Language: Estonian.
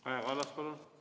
Kaja Kallas, palun!